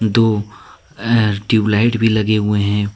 दो एर tube light भी लगे हुए हैं।